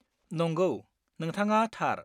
नंगौ, नोंथाङा थार।